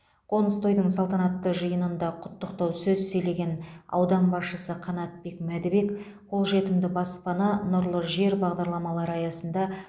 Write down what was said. қоныс тойдың салтанатты жиынында құттықтау сөз сөйлеген аудан басшысы қанатбек мәдібек қолжетімді баспана нұрлы жер бағдарламалары аясында